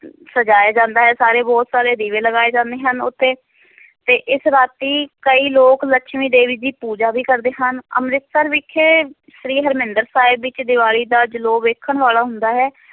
ਸਜਾਇਆ ਜਾਂਦਾ ਹੈ ਸਾਰੇ ਬਹੁਤ ਸਾਰੇ ਦੀਵੇ ਲਗਾਏ ਜਾਂਦੇ ਹਨ ਉਹ ਤੇ ਤੇ ਇਸ ਰਾਤੀ ਕਈ ਲੋਕ ਲਕਸ਼ਮੀ ਦੇਵੀ ਦੀ ਪੂਜਾ ਵੀ ਕਰਦੇ ਹਨ, ਅੰਮ੍ਰਿਤਸਰ ਵਿਖੇ ਸ੍ਰੀ ਹਰਿਮੰਦਰ ਸਾਹਿਬ ਵਿੱਚ ਦੀਵਾਲੀ ਦਾ ਜਲੌ ਵੇਖਣ ਵਾਲਾ ਹੁੰਦਾ ਹੈ।